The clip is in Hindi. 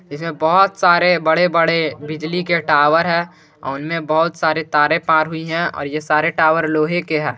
जिसमें बहोत सारे बड़े बड़े बिजली के टावर है उनमें बहुत सारे तारे पार हुई है और ये सारे टावर लोहे के है।